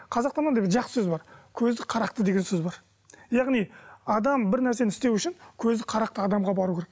қазақта мынандай жақсы сөз бар көзі қарақты деген сөз бар яғни адам бір нәрсені істеу үшін көзі қарақты адамға бару керек